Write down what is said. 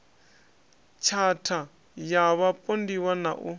tshatha ya vhapondiwa na u